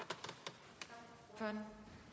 jeg